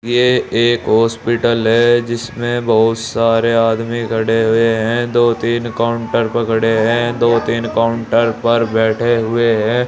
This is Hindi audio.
ये एक हॉस्पिटल है जिसमें बहोत सारे आदमी खड़े हुए हैं दो तीन काउंटर पकड़े हैं दो तीन काउंटर पर बैठे हुए हैं।